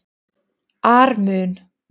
ar mun